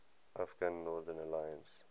afghan northern alliance